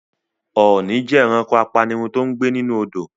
Ọ̀ọni jẹ́ ẹranko apanirun tòun gbé nínú Odò.